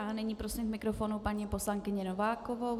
A nyní prosím k mikrofonu paní poslankyni Novákovou.